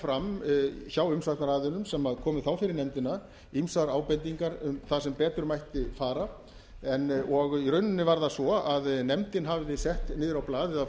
fram hjá umsagnaraðilum sem komu þá fyrir nefndina ýmsar ábendingar um það sem betur mætti fara og í rauninni var það svo að nefndin hafði sett niður á blað eða